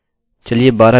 हमें यह मिला है